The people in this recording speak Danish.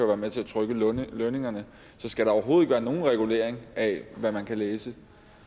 være med til at trykke lønningerne så skal der overhovedet ikke være nogen regulering af hvad man kan læse